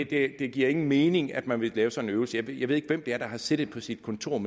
det giver ingen mening at man vil lave sådan en øvelse jeg ved ikke hvem det er der har siddet på sit kontor